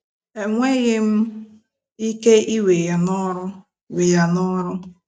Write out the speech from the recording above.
Enweghị m ike ị we ya n'ọrụ! we ya n'ọrụ!